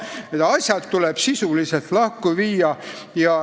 Need asjad tuleb sisuliselt lahku viia.